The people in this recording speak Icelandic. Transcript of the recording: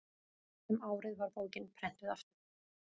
um árið var bókin prenntuð aftur